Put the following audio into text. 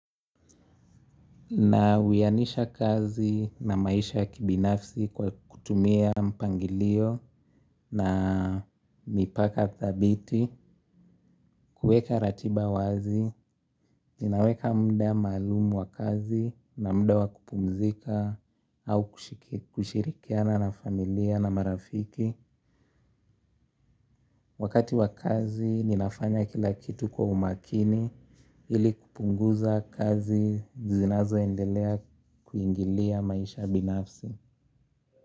Nawianisha kazi na maisha ya kibinafsi kwa kutumia mpangilio na mipaka dhabiti, kueka ratiba wazi, ninaweka mda maalumu wa kazi na mda wa kupumzika au kushirikiana na familia na marafiki. Wakati wa kazi ninafanya kila kitu kwa umakini ili kupunguza kazi zinazoendelea kuingilia maisha binafsi.